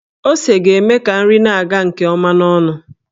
Ose ga-eme ka nri na-aga nke ọma n'ọnụ.